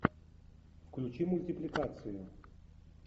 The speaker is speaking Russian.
включи мультипликацию